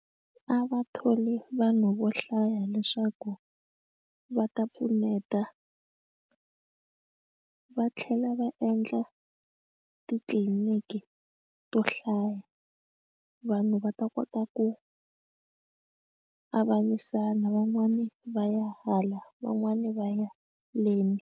A va tholi vanhu vo hlaya leswaku va ta pfuneta va tlhela va endla titliliniki eka to hlaya vanhu va ta kota ku avanyisa na van'wani va ya hala van'wani va ya leni.